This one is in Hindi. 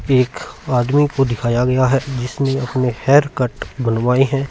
एक आदमी को दिखाया गया है जिसने अपने हेयर कट बनवाए है।